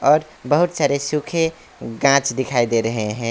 और बहुत सारे सूखे गाछ दिखाई दे रहे हैं।